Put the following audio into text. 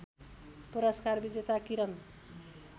पुरस्कार विजेता किरन